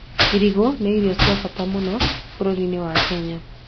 Irigũ nĩ irio cia bata mũno bũrũri-inĩ wa Kenya.